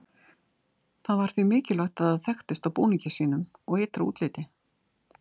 það var því mikilvægt að það þekktist á búningi sínum og ytra útliti